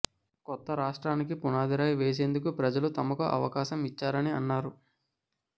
కొత్త రాష్ట్రానికి పునాదిరాయి వేసేందుకు ప్రజలు తమకు అవకాశం ఇచ్చారని అన్నారు